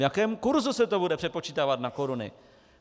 V jakém kurzu se to bude přepočítávat na koruny?